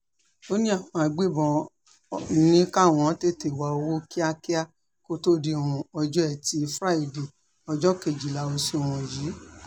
ó ní àwọn agbébọ́n ní káwọn tètè wá owó kíákíá kó tóó di um ọjọ́ etí furadé ọjọ́ kejìlá oṣù um yìí